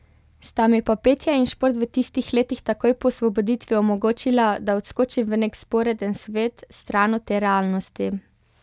Sta mi pa petje in šport v tistih letih takoj po osvoboditvi omogočila, da odskočim v nek vzporeden svet, stran od te realnosti.